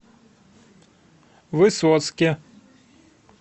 высоцке